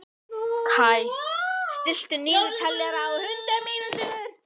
Kaj, stilltu niðurteljara á hundrað mínútur.